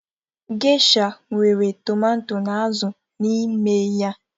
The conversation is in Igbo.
Gesha nwere tomato na azụ n'ime ya.